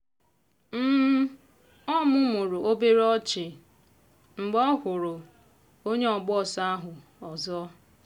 o mumuru obere ọnụ ọchị mgbe ọ hụrụ onye ọgba ọsọ ahụ ọzọ.